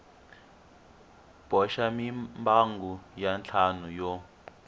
boxa mimbangu ya ntlhanu yo